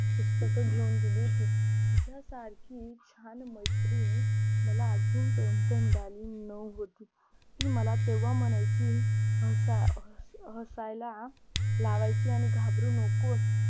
पुस्तकं घेऊन दिली होती तिच्या सारखी छान मैत्रीण मला अजूनपर्यंत मिळाली नव्हती ती मला तेव्हा म्हणायची हसा हसायला लावायची आणि घाबरू नकोस